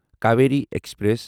Kaveri express